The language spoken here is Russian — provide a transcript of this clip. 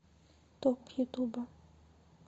топ ютуба